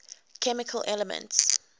chemical elements